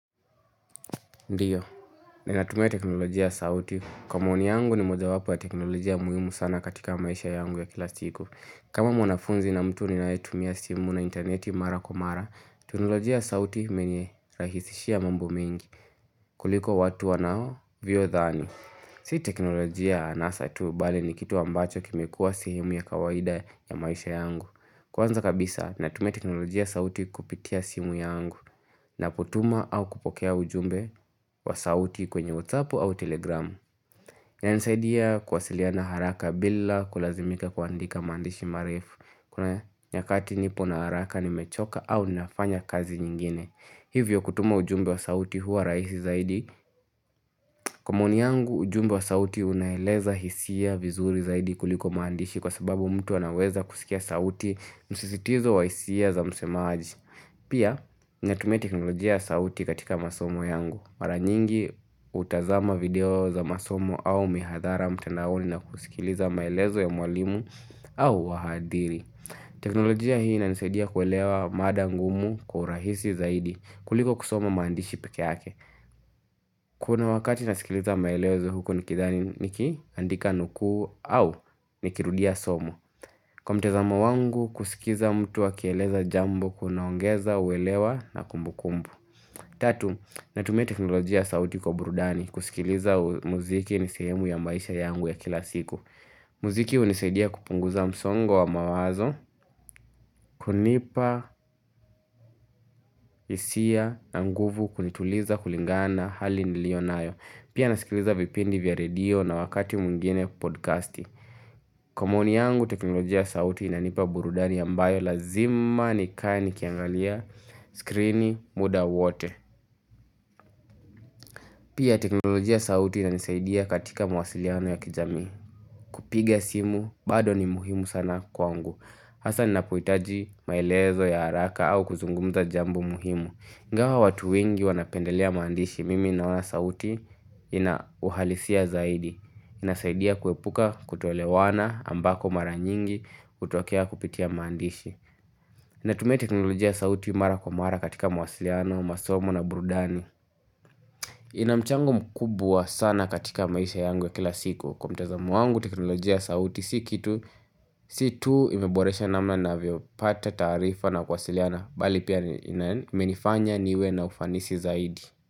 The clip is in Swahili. Ndiyo, ninatumia teknolojia ya sauti. Kwa maoni yangu ni mojawapo ya teknolojia muhimu sana katika maisha yangu ya kila siku. Kama mwanafunzi na mtu ninayetumia simu na intaneti mara kwa mara, teknolojia ya sauti imenirahisishia mambo mingi kuliko watu wanavyodhani. Si teknolojia anasa tu bali ni kitu ambacho kimekua sehemu ya kawaida ya maisha yangu. Kwanza kabisa, ninatumia teknolojia sauti kupitia simu yangu ninapotuma au kupokea ujumbe wa sauti kwenye Whatsapp au telegramu. Inanisaidia kuwasiliana haraka bila kulazimika kuandika maandishi marefu. Kuna nyakati nipo na haraka nimechoka au nafanya kazi nyingine. Hivyo kutuma ujumbe wa sauti huwa rahisi zaidi. Kwa maoni yangu ujumbe wa sauti unaeleza hisia vizuri zaidi kuliko maandishi kwa sababu mtu anaweza kusikia sauti msisitizo wa hisia za msemaaji. Pia, ninatumia teknolojia ya sauti katika masomo yangu. Mara nyingi hutazama video za masomo au mihadhara mtandaoni na kusikiliza maelezo ya mwalimu au wahadhiri. Teknolojia hii inanisaidia kuelewa mada ngumu kwa urahisi zaidi kuliko kusoma maandishi pekee yake. Kuna wakati nasikiliza maelezo huko nikidhani nikiandika nuku au nikirudia somo. Kwa mtazamo wangu kusikiza mtu akieleza jambo kunaongeza uelewa na kumbukumbu. Tatu, natumia teknolojia ya sauti kwa burudani kusikiliza muziki ni sehemu ya maisha yangu ya kila siku muziki hunisaidia kupunguza msongo wa mawazo hunipa hisia na nguvu kunituliza kulingana na hali nilio nayo Pia nasikiliza vipindi vya radio na wakati mwingine podcasti Kwa maoni yangu teknolojia ya sauti inanipa burudani ambayo lazima nikae nikiangalia screen muda wote Pia teknolojia sauti inanisaidia katika mawasiliano ya kijamii. Kupiga simu bado ni muhimu sana kwangu. Hasa ninapohitaji maelezo ya haraka au kuzungumza jambo muhimu. Ingawa watu wengi wanapendelea maandishi mimi naona sauti inauhalisia zaidi. Inasaidia kuepuka kutoelewana ambako mara nyingi hutokea kupitia maandishi. Natumia teknolojia sauti mara kwa mara katika mawasiliano, masomo na burudani ina mchango mkubwa sana katika maisha yangu ya kila siku Kwa mtazamo wangu, teknolojia ya sauti, si kitu Si tu imeboresha namna ninavyopata taarifa na kuwasiliana Bali pia imenifanya niwe na ufanisi zaidi.